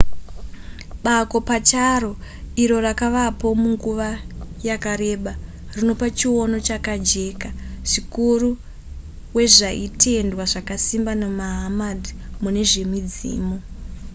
bako pacharo iro rakavapo nguva yakareba rinopa chiono chakajeka zvikuru wezvaitendwa zvakasimba namahammed mune zvemidzimu